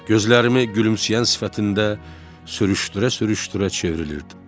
Gözlərimi gülümsəyən sifətində sürüşdürə-sürüşdürə çevrilirdim.